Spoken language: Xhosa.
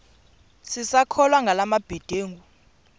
sisakholwa ngala mabedengu